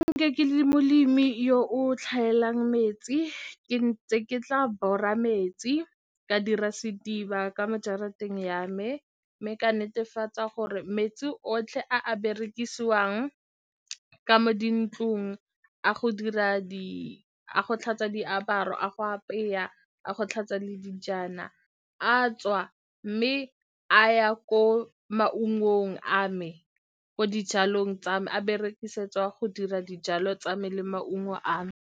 Ke le molemi yo o tlhaelang metsi, ke ntse ke tla bora metsi, ka dira sediba ka mo jarateng ya me, mme ka netefatsa gore metsi otlhe a a berekisiwang ka dintlong a go dira di, a go tlhatswa diaparo, a go apeya a go tlhatswa le dijana a tswa, mme a ya ko maungong a me ko dijalong tsa me a berekisetswa go dira dijalo tsa me le maungo a me.